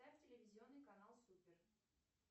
телевизионный канал супер